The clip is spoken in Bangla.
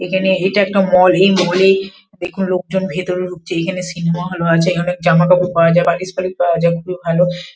এখানে এটা একটা মল এই মলে দেখুন লোকজন ভিতরে ঢুকছে এখানে সিনমা হল ও আছে এখানে অনেক জামাকাপড় পাওয়া যায় বাটিক শাড়ি পাওয়া যায় এবং ভালো ।